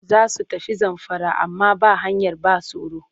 Za su tafi Zamfara amma ba hanyar ba tsaro